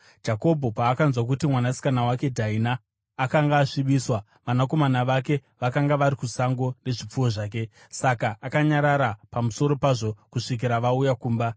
Jakobho paakanzwa kuti mwanasikana wake Dhaina akanga asvibiswa, vanakomana vake vakanga vari kusango nezvipfuwo zvake; saka akanyarara pamusoro pazvo kusvikira vauya kumba.